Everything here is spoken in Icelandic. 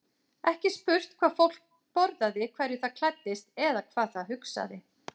Ekki spurt hvað fólk borðaði, hverju það klæddist eða hvað það hugsaði.